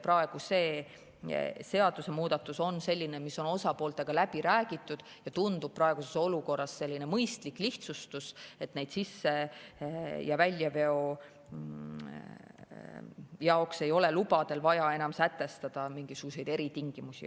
See seadusemuudatus on osapooltega läbi räägitud ja tundub praeguses olukorras mõistlik lihtsustus, et sisse- ja väljaveo jaoks ei ole lubadel vaja enam sätestada mingisuguseid eritingimusi.